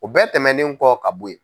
U bɛɛ tɛmɛnen kɔ ka bɔ yen.